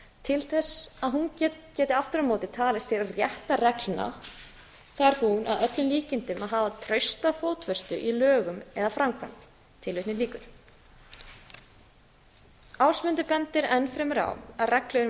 til þess að hún geti aftur á móti talist til réttarreglna þarf hún að öllum líkindum að hafa trausta fótfestu í lögum eða í framkvæmd ásmundur bendir enn fremur á að reglur um upplýsinga